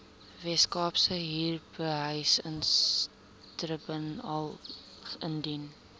weskaapse huurbehuisingstribunaal indien